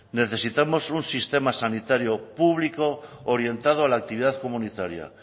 necesitamos un sistema sanitario público orientado a la actividad comunitaria